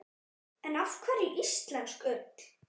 En af hverju íslensk ull?